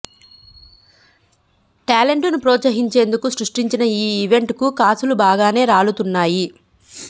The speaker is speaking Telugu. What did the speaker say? టాలెంట్ ను ప్రోత్సహించేందుకు సృష్టించిన ఈ ఈవెంట్ కు కాసులు బాగానే రాలుతున్నాయి